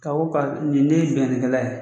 Ka o ka ni de ye binkannikɛla ye.